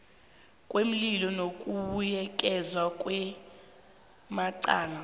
kweenlilo nokubuyekezwa kwamacala